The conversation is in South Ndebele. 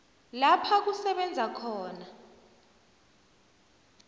lapha kusebenza khona